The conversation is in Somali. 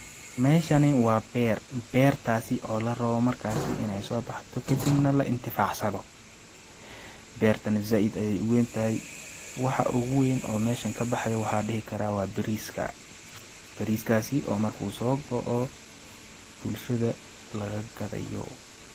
Meshani wa ber, bertasi oo larabo markasi inay sobaxdo kadib nah la intixfasado, bertana said ayay uwentahay waxa ogu weyn oo mesha kabaxqayo waxan dihi kara waa bariska, bariskasi oo marku soo go'oh bulshada laga gadayo.